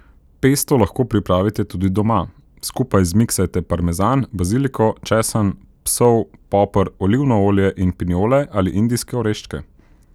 Pesto lahko pripravite tudi doma, skupaj zmiksajte parmezan, baziliko, česen, sol, poper, olivno olje in pinjole ali indijske oreščke.